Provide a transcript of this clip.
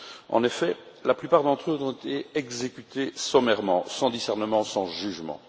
En effet, la plupart d'entre eux ont été exécutés sommairement, sans discernement, sans jugement.